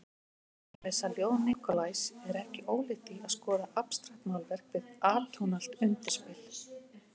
Að lesa ljóð Nikolajs er ekki ólíkt því að skoða abstraktmálverk við atónalt undirspil.